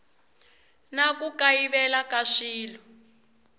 na ku kayivela ka swilo